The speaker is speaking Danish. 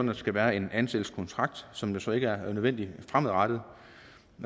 der skal være en ansættelseskontrakt som så ikke er nødvendig fremadrettet